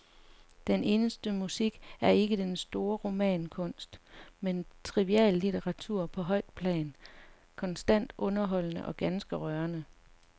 Den eneste musik er ikke den store romankunst, men triviallitteratur på højt plan, konstant underholdende og ganske rørende.